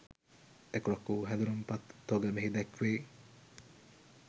එක්‌රොක්‌ වූ හැඳුම්පත් තොග මෙහි දැක්‌වේ.